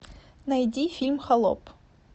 найди фильм холоп